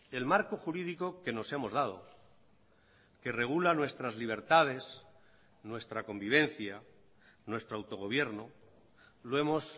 el marco jurídico que nos hemos dado que regula nuestras libertades nuestra convivencia nuestro autogobierno lo hemos